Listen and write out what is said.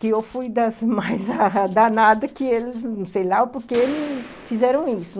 que eu fui das mais danadas que eles, não sei lá o porquê, me fizeram isso.